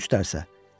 Üç dərsə.